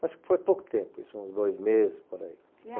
Mas foi pouco tempo, isso uns dois meses, por aí.